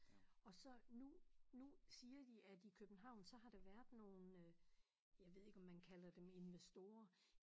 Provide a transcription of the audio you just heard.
Og så nu nu siger de at i København så har der været nogle øh jeg ved ikke om man kalder dem investorer